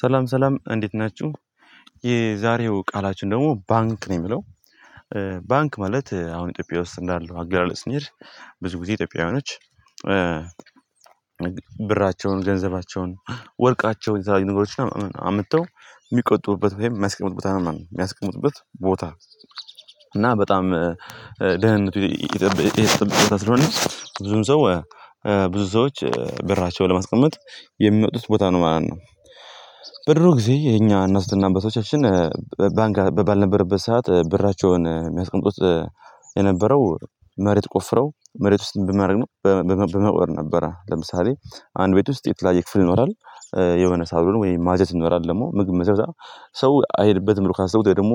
ሰላም ሰላም እንዴት ናቹ የዛሬው ቃላችን ደሞ ባንክ ነው የሚለው ባንክ ማለት አሁን ኢትዮጵያ ውስጥ እንዳለው አገላለጽ ስንሄድ ብዙ ጊዜ ኢትዮጵያውያኖች ብራቸውን ገንዘባቸውን ወርቃቸውን አምጥተው የሚቆጥቡበት የሚያስቀምጡበት ቦታ እና በጣም ደህንነቱ ስለሆነች ብዙም ሰው ብዙ ሰዎች ብራቸውን ለማስቀመጥ የሚመጡት ቦታ ነው ማለት ነው በድሮ ጊዜ የኛ እንስትና አባቶቻችን ባንክ ባልነበረበት ሰዓት ብራቸውን የሚያስቀምጡት የነበረው መሬት ቆፍረው መሬት ውስጥ ብመርን ነው በመቅበር ነበረ ለምሳሌ አንድ ቤት ውስጥ የተለያየ ክፍል ይኖራል የሆነ ሳሎኑ ወይም ማጀት ይኖራል ደሞ ምግብ ሚገዛ ሰው አይሄድበትም ብሎ ካሰቡ ወይም ደሞ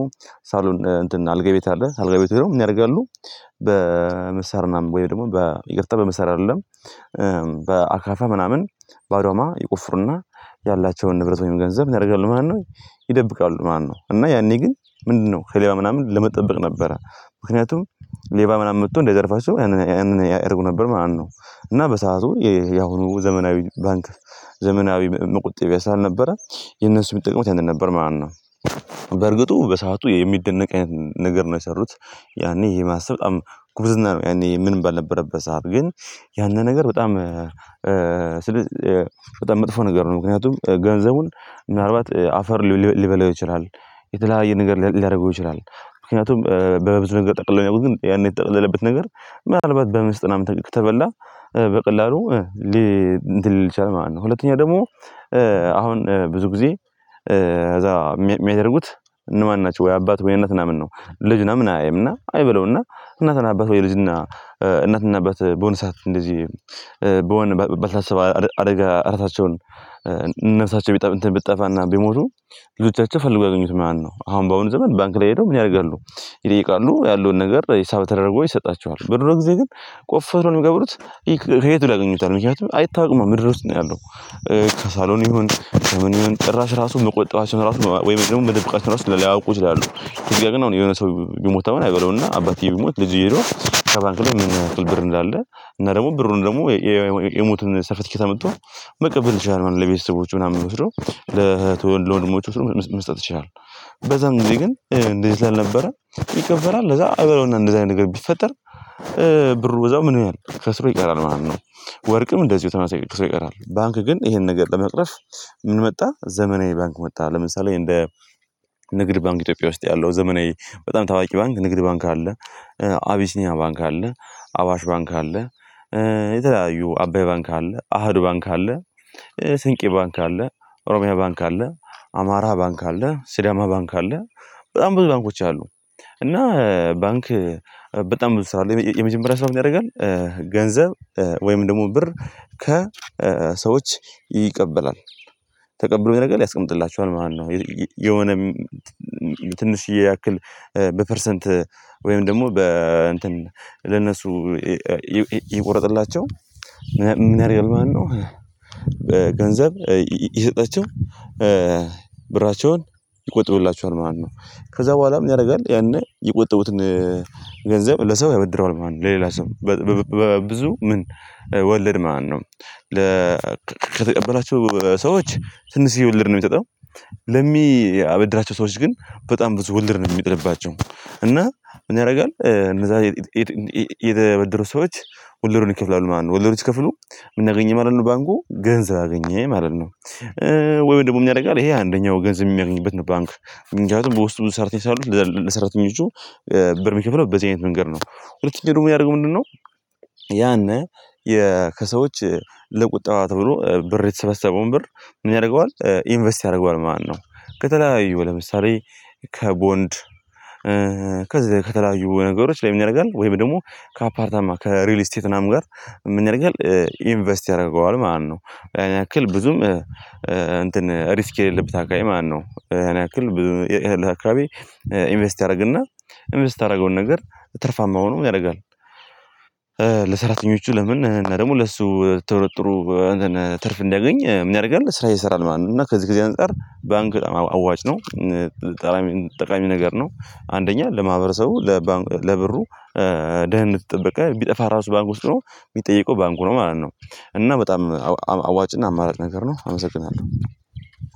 ሳሎን እንትን አልጋ ቤት አለ አልጋ ቤት ሂደው ምን ያረጋሉ በምሳር ምናምን ወየም ደሞ ይቅርታ በምሳር አይደለም በአካፋ ምናምን በአዶማ ይቆፍሩና ያላቸውን ንብረት ወይም ገንዘብ ምን ያረጋሉ ማለት ነው ሰው አይሄድበትም ነው ካሰቡት ደግሞ ሳሎን እንትን አልጋ ቤት አለ አልጋ ቤት ነው የሚያደርጋሉ በመሳር ወይም ደግሞ በይቅርታ በምሰር አይደለም በአካፋ ምናምን በአዶማ ይቆፍሩና ያላቸውን ንብረት ወይም ገንዘብ እናደርጋለን ማነው ይደብቃሉ ማነው እና ያኔ ግን ምንድነው ከሌላው ምናምን ለመጠበቅ ነበረ ምክንያቱም ሌባ ምናምን መጥቶ እንደዘርፋቸው ያንን ያደርጉ ነበር ማለት ነው እና በሰአቱ ያሁኑ ዘመናዊ ባንክ ዘመናዊ መቁጠጥ ያስራ አልነበረ የነሱ የምትጠቅመው ያንተ ነበር ማለት ነው በርግጡ በሰአቱ የሚደነቅ አይነት ነገር ነው የሰሩት ያኔ የማሰብ በጣም ጉብዝና ነው ያኔ ምን ባልነበረበት ሀብ ግን ያንን ነገር በጣም በጣም መጥፎ ነገር ነው ምክንያቱም ገንዘቡን ምናልባት አፈር ሊበላው ይችላል የተለያየ ነገር ሊያደርገው ይችላል ምክንያቱም በበዙ ነገር ጠቅለል ያው ግን ያን የተጠቅለለበት ነገር ምናልባት በምስጥናም ተቀቅ ተበላ በቀላሉ ሊ እንትን ሊል ይችላል ማለት ነው ሁለተኛ ደግሞ አሁን ብዙ ጊዜ እዛ የሚያደርጉት እነማን ናቸው ወይ አባት ወይ እነት ነው ምን ነው ልጅ ነው ምን አያይም እና አይበለውና እነት ነው አባት ወይ ልጅ ነብሳቸው እንትን ብትጠፋ እና ቢሞቱ ልጆቻቸው ፈልገው ያገኙት ማለት ነው ኣሁን በኣሁኑ ዘመን ባንክ ላይ ሂደው ምን ያደርጋሉ ይጠይቃሉ ያለውን ነገር ሂሳብ ተደርጎ ይሰጣቸዋል በድሮ ገዜ ግን ቆፍሮ የት ብለው ያገኙታል ምክንያቱ ኣይታወቅማ ምድር ውስጥ ነው ያለው ከሳሎን ይሁን፣ ከምን ይሁን ጭራሽ ራሱ መቆጠባቸውን ራሱ ማ ወይም ደግሞ መደበቃችን ራሱ ለላይ ላያውቁ ይችላሉ። ስለዚ ግን አሁን የሆነ ሰው ቢሞት አሁን አይበለውና አባትየው ቢሞት፣ ልጅየው ሄዶ ከባንክ ላይ ምን ያክል ብር እንዳለ እና ደሞ ብሩን ደሞ የ የ የሞቱን ሰርፈትኬት አምቶ መቀበል ይችላል ማለት ነው። ለቤተሰቦቹ ምናምን ወስዶ ለህት ወይ ለወንድሞቹ ወስዶ መስ መስጠት ይችላል። በዛን ጊዜ ግን እ እንደዚ ስላልነበረ ይቀበራል። ለዛ አይበለውና እንደዚህ አይነት ነገር ቢፈጠር እ ብሩ በዛው ምን ኖያል ከስሮ ይቀራል ማለት ነው። ወርቅም እንደዚው ተመሳይ ብዙ ይቀራል። ባንክ ግን ኢሄን ነገር ለመቅረፍ ምን መጣ፣ ዘመናዊ ባንክ መጣ። ለምሳሌ እንደ ንግድ ባንክ ኢትዮጵያ ውስጥ ያለው፣ ዘመናዊ በጣም ታዋቂ ባንክ ንግድ ባንክ አለ። አቢሲኒያ ባንክ አለ፣ አዋሽ ባንክ አለ፣ እ የተለያዩ አባይ ባንክ አለ፣ አሀዱ ባንክ አለ፣ ስንቄ ባንክ አለ፣ ኦሮሚያ ባንክ አለ፣ አማራ ባንክ አለ፣ ሲዳማ ባንክ አለ፣ በጣም ብዙ ባንኮች አሉ። እና ባንክ በጣም ብሳለው የመጀመሪያ ስራው ምን ያደርጋል፣ ኧ ገንዘብ ኧ ወይም ደሞ ብር ከሰዎች ይቀበላል። ተቀብሎ ያረጋል ያስቀምጥላቸዋል ማለት ነው። ኢ ይ የ የ የሆነ ም ትንሽዬ ያክል ኧ በፐርሰንት ወይም ደሞ በ እንትን ለነሱ ኤ አ እየቆረጠላቸው ምን ምን ያረጋል ማለት ነው። ኧ ገንዘብ ኢ ኢሰጣቸው ኧ ብራቸውን ይቆጥብላቸዋል ማለ ነው። ከዛ በኋላ ምን ያደረጋል ያኔ የቆጠቡትን ኧ ገንዘብ ለሰው ያበድረዋል ማለት ነው። ለሌላ ሰው በ በ በብዙ ምን? ወለድ ማለት ማነው። ለ ከተቀበላው ሰዎች ትንሽዬ ወልድ ነው ሚሰጠው። ለሚያበድራቸው ሰዎች ግ፣ በጣም ብዙ ወለድ ነው ሚጥልባቸው። እና ምን ያረጋል እነዛ ኤት ኢ የተበደሩ ሰዎች ወለዱን ይከፍላሉ ማለት ነው። ወለዱን ሲከፍሉ ምናገኘ ማለት ነው ባንኩ ገንዘብ አገኘ ማለት ነው። እ ወይ ደሞ ምንረጋል ይሄ አንደኛው ገንዘብ እሚያገኝበት ነው ባንክ። ምንክያቱም በውስጡ ስራተኞች ስላሉት ለዛ ለሰራተኞቹ እ ብር ሚከፍለው በዚ አይነት መንገድ ነው። ሁለተኛ ደሞ ሚያረገው ምንድነው ያነ የ ከሰዎች ለቁጠባ ተብሎ ብር የተሰበሰበውን ብር ምን ያረገዋል ኢንቨስት ያረገዋል ማለት ነው። ከተለያዩ ለምሳሌ ከቦንድ፣ እ ከዚህ ከተለያዩ ነገሮች ላይ ምንረጋል ወይም ደሞ ካፓርታማ፣ ከሪልስቴት ናም ጋር ምንያረጋል ኧ ኢንቨስት ያረገዋል ማለት ነው። ያንክል ብዙም እ እንትን እሪስክ የሌለበት አካባቢ ማነው። እሃን ያክል ብዙ ኤሄልህ አካበቢ ኢንቨስት ያረግና ኢንቨስት ያረገውን ነገር ትርፋማ ሆኖ ምን ያረጋል እ ለሰራተኞቹ ለምን እና ደሞ ለሱ ቶሮጥሩ አትን ትርፍ እንዲያገኝ ምን ያረጋል ስራ ይሰራል ማለት ነው። እና ከዚ ከዚ አንፃር ባንክ ጣም አዋጭ ነው። እን ጣረሚን ጠቃሚ ነገር ነው። አንደኛ ለማህበረሰቡ፣ ለባ ለብሩ ኧ ደህነቱ የጠበቀ። ቢጠፋ ራሱ ባንክ ውስጥ ኖው ሚጠይቀው ባንኩ ነው ማለት ነው። እና በጣም አው አው አዋጭና አማራጭ ነገር ነው። አመሰግናለሁ።